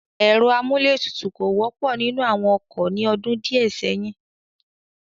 Ẹ̀rọ amúlé tutù kò wọ́pọ̀ nínú àwọn ọkọ̀ ní ọdún díẹ̀ sẹ́yìn.